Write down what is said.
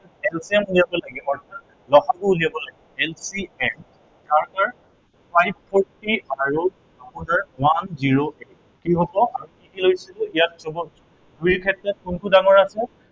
LCM উলিয়াব লাগে। ল সা গু উলিয়াব লাগে LCM কাৰ কাৰ, five forty আৰু one zero eight কি হব, আমি কি কি লৈছিলো ইয়াত সৱ আছে, এই ক্ষেত্ৰত কোনটো ডাঙৰ আছে